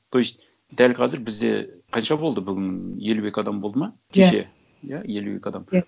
то есть дәл қазір бізде қанша болды бүгін елу екі адам болды ма иә кеше иә елу екі адам иә